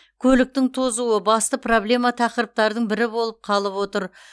көліктің тозуы басты проблемалы тақырыптардың бірі болып қалып отыр